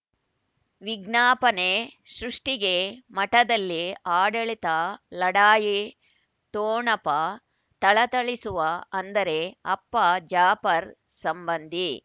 ವಿಜ್ಞಾಪನೆ ಸೃಷ್ಟಿಗೆ ಮಠದಲ್ಲಿ ಆಡಳಿತ ಲಢಾಯಿ ಠೊಣಪ ಥಳಥಳಿಸುವ ಅಂದರೆ ಅಪ್ಪ ಜಾಪರ್ ಸಂಬಂಧಿ